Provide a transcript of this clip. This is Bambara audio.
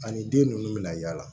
Ani den ninnu bɛna yaala